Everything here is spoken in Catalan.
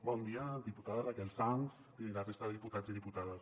bon dia diputada raquel sans i la resta de diputats i dipu·tades